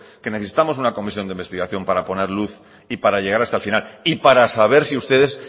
que necesitamos una comisión de investigación para poner luz y para llegar hasta el final y para saber si ustedes